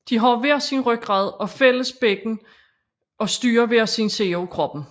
De har hver sin rygrad og fælles bækken og styrer hver sin side af kroppen